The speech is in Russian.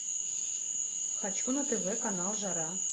хочу на тв канал жара